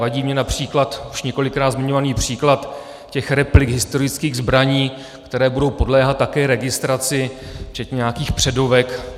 Vadí mi například už několikrát zmiňovaný příklad těch replik historických zbraní, které budou podléhat také registraci včetně nějakých předovek.